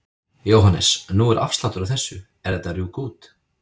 Jóhannes: Nú er afsláttur á þessu, er þetta að rjúka út?